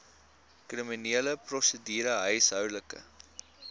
kriminele prosedure huishoudelike